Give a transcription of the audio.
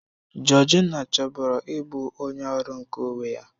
Georgina chọburu ịbụ onye ọrụ nke onwe ya.